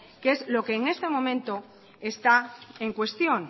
que es lo que en este momento está en cuestión